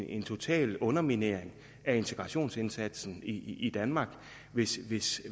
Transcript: en total underminering af integrationsindsatsen i danmark hvis hvis